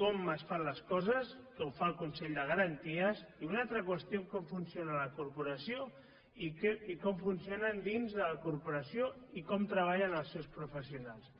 com es fan les coses que ho fa el consell de garanties i una altra qüestió com funciona la corporació i com funcionen dins de la corporació i com treballen els seus professionals